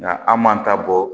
Nka an m'an ta bɔ